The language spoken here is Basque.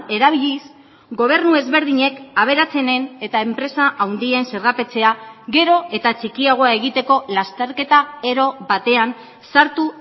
erabiliz gobernu ezberdinek aberatsenen eta enpresa handien zergapetzea gero eta txikiagoa egiteko lasterketa ero batean sartu